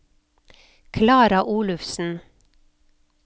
Klara Olufsen